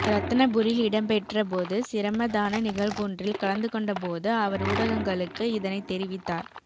இரத்தினபுரியில் இடம்பெற்ற பொது சிரமதான நிகழ்வொன்றில் கலந்துகொண்டபோது அவர் ஊடகங்களுக்கு இதனை தெரிவித்தார்